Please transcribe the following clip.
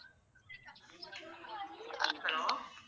Hello.